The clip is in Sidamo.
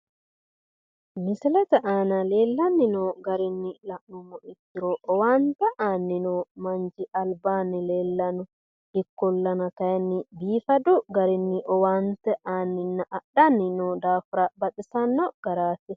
Misilete aana leellanni noo garinni la'nummoro ikkiro owaante aanni noo manchi albaanni leellanno ikkollana kayinni biifadu garinni owaante aanninna adhanni noo daafira baxisanno garaati